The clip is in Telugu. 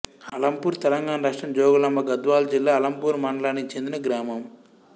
అలంపూర్ తెలంగాణ రాష్ట్రం జోగులాంబ గద్వాల జిల్లా అలంపూర్ మండలానికి చెందిన గ్రామం